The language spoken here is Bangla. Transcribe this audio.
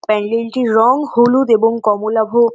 প্যান্ডেল টির রঙ হলুদ এবং কমলা ভোগ--